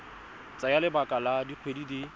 tsaya lebaka la dikgwedi di